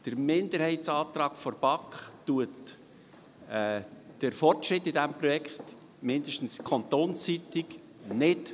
Der Minderheitsantrag der BaK verzögert den Fortschritt in diesem Projekt, mindestens kantonsseitig, nicht.